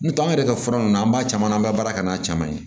N'o tɛ an yɛrɛ ka fura ninnu an b'a caman na an b'a baara kɛ n'a caman ye